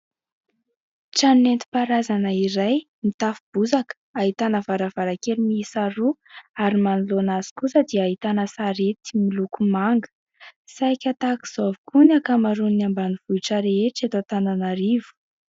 Trano nentim-paharazana iray mitafo bozaka, ahitana varavarankely miisa roa ary manoloana azy kosa dia ahitana sarety miloko manga. Saiky tahak'izao avokoa ny ankamaroan'ny ambanivohitra rehetra eto Antananarivo.